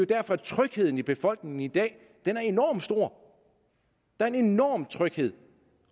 derfor at trygheden i befolkningen i dag er enormt stor der er en enorm tryghed